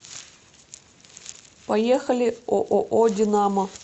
поехали ооо динамо